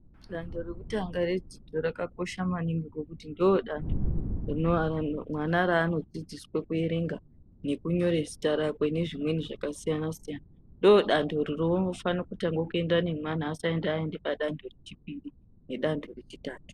Dandebrekutanga redzidzo rakakosha ngekuti ndiron dande raunoona nekunyora Zita rakwe nezvimweni zvakasiyana siyana ndodando rainofana kutangabenda nemwana asati aenda padande rechipiri asati aenda padande rechitatu.